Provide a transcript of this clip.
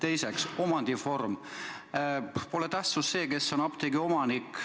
Mis puutub omandivormi, siis pole tähtis, kes on apteegi omanik.